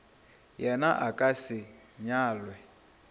yena a ka se nyalwe